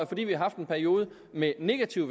fordi vi har haft en periode med negativ